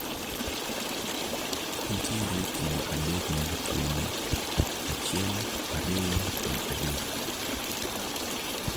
nitiere kido adek mag tuoni, achiel ariyo kod adek